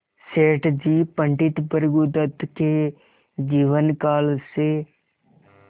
सेठ जी पंडित भृगुदत्त के जीवन काल से